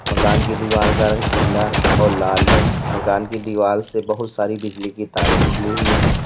मकान की दीवाल का रंग पीला और लाल है मकान की दीवाल से बहुत सारी बिजली की तारे निकली हुई हैं।